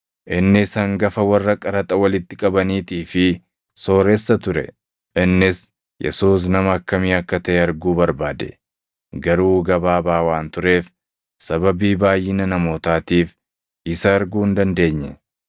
Innis Yesuus nama akkamii akka taʼe arguu barbaade; garuu gabaabaa waan tureef, sababii baayʼina namootaatiif isa arguu hin dandeenye.